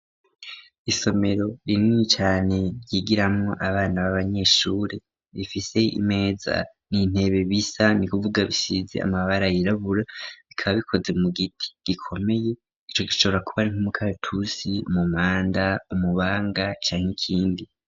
Isomero rinini cane ryigiramwo abana b'abanyeshuri bafise imeza n'intebe bisa ni kuvuga bisize amabara yirabura bikaba bikozwe mu giti gikomeye ico gishobora kubari nk'umukaratusi c'umumanda, umubanga canke ikindi.